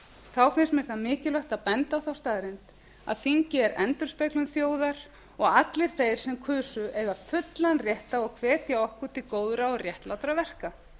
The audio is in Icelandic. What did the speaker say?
þá finnst mér það mikilvægt að benda á þá staðreynd að þingið er endurspeglun þjóðar og allir þeir sem kusu eiga fullan rétt á að hvetja okkur til góðra og réttlátra verka